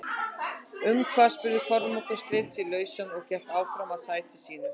Um hvað spurði Kormákur, sleit sig lausann og gekk áfram að sætinu sínu.